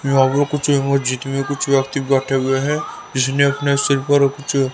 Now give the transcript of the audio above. यहां पर कुछ कुछ व्यक्ति बैठे हुए हैं जिसने अपने सिर पर कुछ--